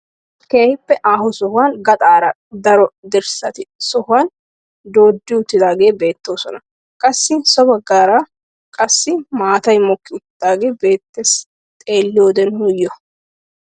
Keehippe aaho sohuwaan gaxaara daro dirssati sohuwaa dooddi uttidaageti bettoosona. qassi so baggaara qassi maatay mokki uttidagee beettees xeelliyoode nuyoo.